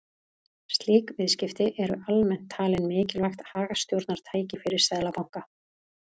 Slík viðskipti eru almennt talin mikilvægt hagstjórnartæki fyrir seðlabanka.